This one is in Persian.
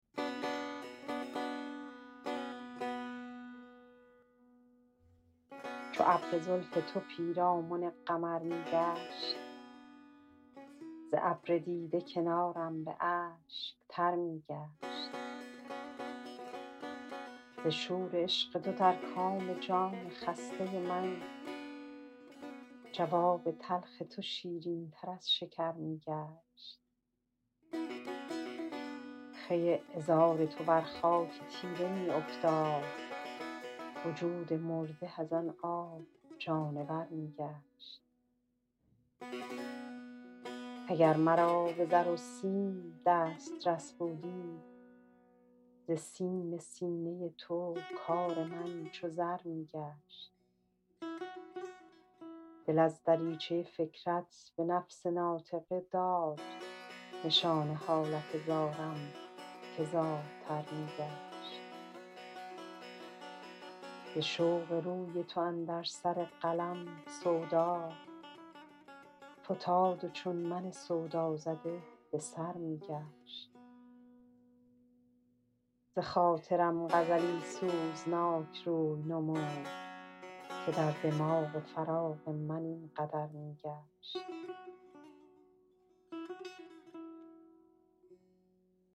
چو ابر زلف تو پیرامن قمر می گشت ز ابر دیده کنارم به اشک تر می گشت ز شور عشق تو در کام جان خسته من جواب تلخ تو شیرین تر از شکر می گشت خوی عذار تو بر خاک تیره می افتاد وجود مرده از آن آب جانور می گشت اگر مرا به زر و سیم دسترس بودی ز سیم سینه تو کار من چو زر می گشت دل از دریچه فکرت به نفس ناطقه داد نشان حالت زارم که زارتر می گشت ز رشک قد تو اندر سر قلم سودا فتاد و چون من سودازده به سر می گشت بخاطرم غزلی سوزناک روی نمود که در دماغ خیال من این قدر می گشت